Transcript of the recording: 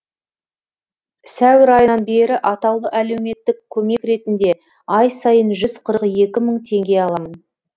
сәуір айынан бері атаулы әлеуметтік көмек ретінде ай сайын жүз қырық екі мың теңге аламын